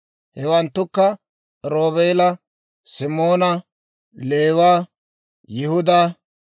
Hewanttukka: Roobeela, Simoona, Leewa, Yihudaa,